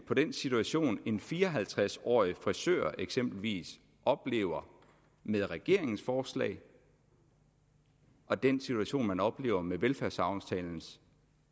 på den situation en fire og halvtreds årig frisør eksempelvis oplever med regeringens forslag og den situation man oplever med velfærdsaftalens